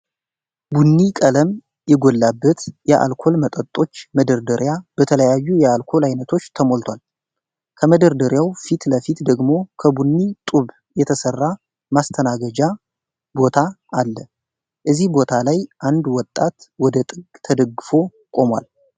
ቡኒ ቀለም የጎላበት የአልኮል መጠጦች መደርደሪያ በተለያዩ የአልኮል አይነቶች ተሞልቷል። ከመደርደሪያው ፊት ለፊት ደግሞ ከቡኒ ጡብ የተሰራ ማስተናገጃ ቦታ አለ እዚህ ቦታ ላይ አንድ ወጣት ወደ ጥግ ተደግፎ ቆሟል።